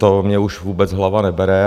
To mně už vůbec hlava nebere.